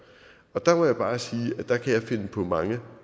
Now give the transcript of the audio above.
og der må jeg bare sige at der kan jeg finde på mange